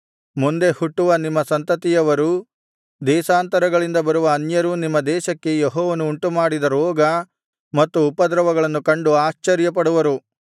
ಮುಂದೆ ಹುಟ್ಟುವ ನಿಮ್ಮ ಸಂತತಿಯವರೂ ದೇಶಾಂತರಗಳಿಂದ ಬರುವ ಅನ್ಯರೂ ನಿಮ್ಮ ದೇಶಕ್ಕೆ ಯೆಹೋವನು ಉಂಟುಮಾಡಿದ ರೋಗ ಮತ್ತು ಉಪದ್ರವಗಳನ್ನು ಕಂಡು ಆಶ್ಚರ್ಯಪಡುವರು